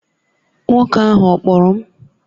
Nwoke ahụ ọ kpọrọ m?